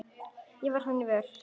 En ég varð hennar vör.